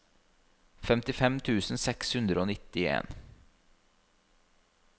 femtifem tusen seks hundre og nittien